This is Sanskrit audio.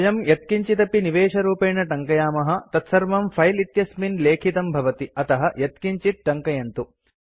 वयं यत्किञ्चिदपि निवेशरूपेण टङ्कयामः तत्सर्वं फिले इत्यस्मिन् लेखितं भवति अतः यत्किञ्चित् टङ्कयन्तु